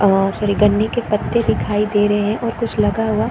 आ सुरिगणनी के पत्ते दिखाई दे रही है और कुछ लगा हुआ --